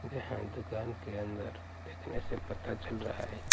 जहां दुकान के अंदर देखने से पता चल रहा है कि--